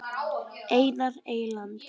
Einar Eyland.